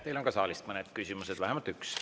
Teile on ka saalist mõned küsimused, vähemalt üks.